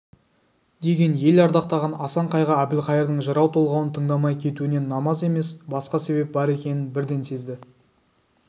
деген ел ардақтаған асан қайғы әбілқайырдың жырау толғауын тыңдамай кетуіне намаз емес басқа себеп бар екенін бірден сезді